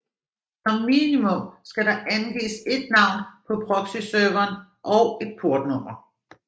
Som minimum skal der angives et navn på proxyserveren og et portnummer